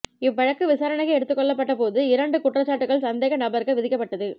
இவ்வழக்கு விசாரணைக்கு எடுத்துக்கொள்ளப்பட்ட போது இரண்டு குற்றச்சாட்டுக்கள் சந்தேக நபருக்கு விதிக்கப்பட்டது